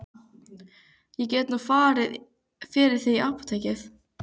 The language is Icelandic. Ég get nú farið fyrir þig í apótekið.